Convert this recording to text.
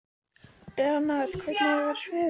Leonhard, hvernig er veðurspáin?